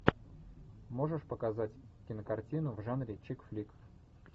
можешь показать кинокартину в жанре чик флик